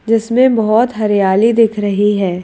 जिसमें बहोत हरियाली दिख रही है।